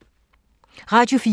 Radio 4